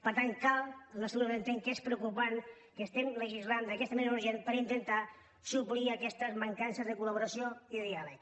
per tant el nostre grup entén que és preocupant que estiguem legislant d’aquesta manera urgent per intentar suplir aquestes mancances de col·laboració i de diàleg